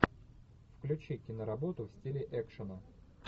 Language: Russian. включи киноработу в стиле экшена